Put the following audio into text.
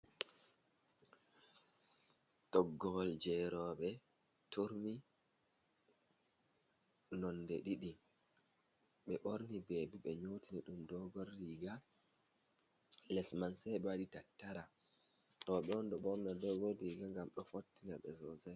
Toggowol jeroɓe, turmi nonde ɗiɗi ɓe borni bebi, ɓe nyotini ɗum dogon riiga les man sei ɓewaɗi tattara roɓe ɗon ɗo ɓorna dogon riga ngam ɗo fottina ɓe sosai.